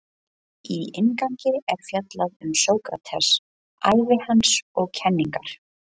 Í inngangi er fjallað um Sókrates, ævi hans og kenningar.